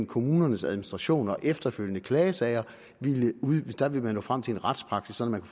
kommunernes administration og de efterfølgende klagesager ville nå frem til en retspraksis sådan at